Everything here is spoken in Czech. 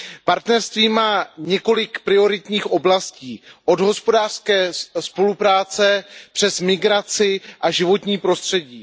Partnerství má několik prioritních oblastí od hospodářské spolupráce, přes migraci a životní prostředí.